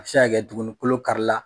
A bɛ se ka kɛ dugunikolo kari la.